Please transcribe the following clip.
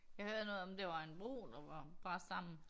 Jeg hørte noget om det var en bro der var brast sammen